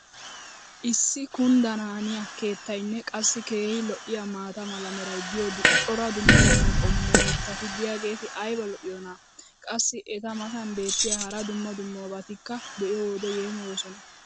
issi kunddanaaniya keettaynne qassi keehi lo'iyaa maata mala meray diyo cora dumma dumma qommo mitati diyaageti ayba lo'iyoonaa? qassi eta matan beetiya hara dumma dummabatikka be'iyoode yeemmoyoosona.